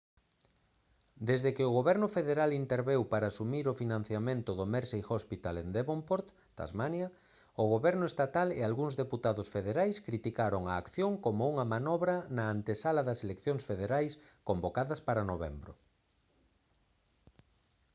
desde que o goberno federal interveu para asumir o financiamento do mersey hospital en devonport tasmania o goberno estatal e algúns deputados federais criticaron a acción como unha manobra na antesala das eleccións federais convocadas para novembro